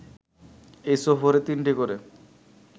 এ সফরে তিনটি করে